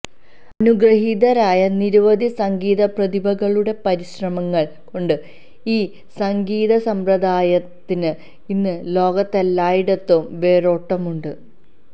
അനുഗൃഹീതരായ നിരവധി സംഗീതപ്രതിഭകളുടെ പരിശ്രമങ്ങൾ കൊണ്ട് ഈ സംഗീത സമ്പ്രദായത്തിന് ഇന്ന് ലോകത്തെല്ലായിടത്തും വേരോട്ടമുണ്ട്